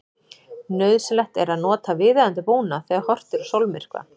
Nauðsynlegt er að nota viðeigandi búnað þegar horft er á sólmyrkva.